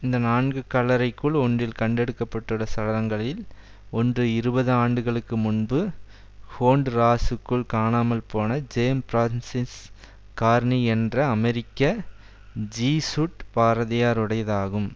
இந்த நான்கு கல்லறைக்குள் ஒன்றில் கண்டெடுக்கப்பட்டுள்ள சடலங்களில் ஒன்று இருபது ஆண்டுகளுக்கு முன்பு ஹோண்ட்ராசுக்குள் காணாமல்போன ஜேம் பிரான்ஸ் ஸிஸ் கார்னி என்ற அமெரிக்க ஜீசுட் பாதிரியாருடையது ஆகும்